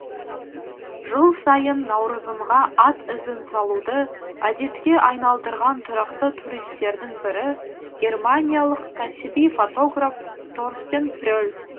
жыл сайын наурызымға ат ізін салуды әдетке айналдырған тұрақты туристердің бірі германиялық кәсіби фотограф торстен пре ль